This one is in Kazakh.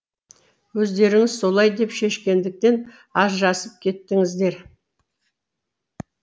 өздеріңіз солай деп шешкендіктен ажырасып кеттіңіздер